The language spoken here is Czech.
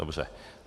Dobře.